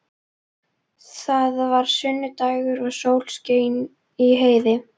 Það var sunnudagur og sól skein í heiði.